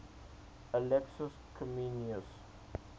alexius comnenus